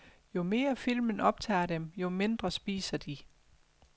Jo mere filmen optager dem, jo mindre spiser de.